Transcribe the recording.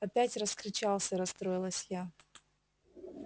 опять раскричался расстроилась я